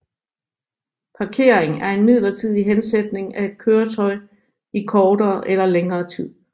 Parkering er en midlertidig hensætning af et køretøj i kortere eller længere tid